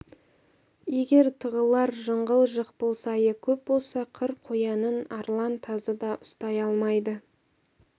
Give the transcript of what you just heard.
егер тығылар жыңғыл жықпыл сайы көп болса қыр қоянын арлан тазы да ұстай алмайды